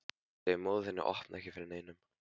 Segðu móður þinni að opna ekki fyrir neinum.